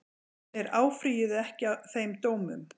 Þeir áfrýjuðu ekki þeim dómum